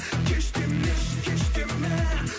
кеш демеші кеш деме